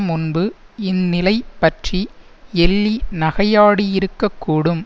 முன்பு இந்நிலை பற்றி எள்ளி நகையாடியிருக்கக்கூடும்